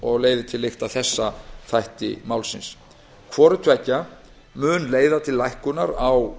og leiðir til lykta þessa þætti málsins hvort tveggja mun leiða til lækkunar á